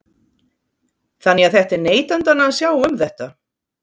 Þannig að þetta er neytendanna að sjá um þetta?